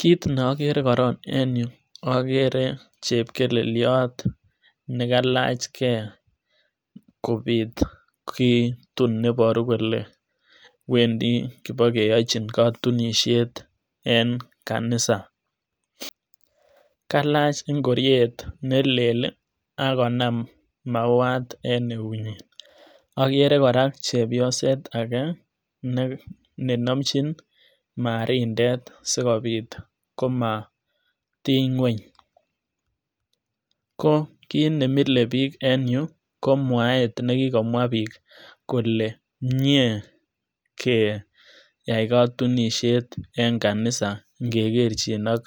kit ne okere korong en yuu kere chepkelelyot nekailach gee kobit kitun neiboruu kole wendi kopokeyochi kotunishet en kanisaa, kailach ingoriet nelel ak koman mauwan en neunyin, okere koraa chepyoset ake nenomchi marindet sikobit komotiny ngweny, ko kit nemile bik en yuu ko mwaet nekikomwaa bik kole mie keyai kotunishet en kanisa ikegerjin ak